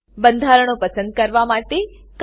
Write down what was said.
બંધારણો પસંદ કરવા માટે CTRLA દબાવો